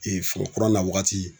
forokura nawagati.